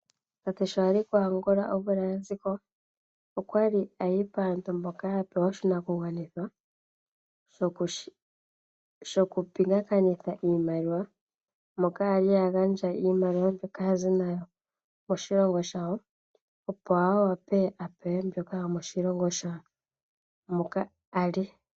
Tate sho ali kuAngola omvula ya ziko okwali ayi paantu mpoka ya pewa oshinakugwanithwa shoku pingakanitha iimaliwa. Moka ali a gandja iimaliwa mbyoka azi nayo koshilongo shawo opo a wape a pewe mbyoka yomoshilongo shawo moka ali.